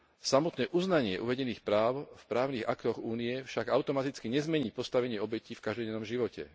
Samotné uznanie uvedených práv v právnych aktoch Únie však automaticky nezmení postavenie obetí v každodennom živote.